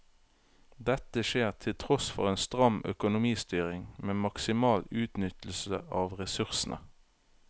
Dette skjer til tross for en stram økonomistyring med maksimal utnyttelse av ressursene.